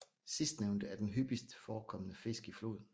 Sidstnævnte er den hyppigst forekommende fisk i floden